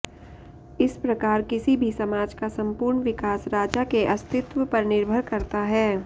इस प्रकार किसी भी समाज का सम्पूर्ण विकास राजा के अस्तित्व पर निर्भर करता है